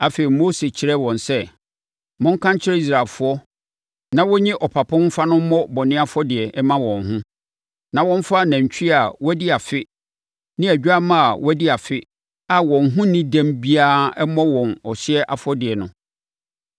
Afei Mose kyerɛɛ wɔn sɛ, “Monka nkyerɛ Israelfoɔ na wɔnyi ɔpapo mfa no mmɔ bɔne afɔdeɛ mma wɔn ho, na wɔmfa nantwie a wadi afe ne odwammaa a wadi afe a wɔn ho nni dɛm biara mmɔ wɔn ɔhyeɛ afɔdeɛ no.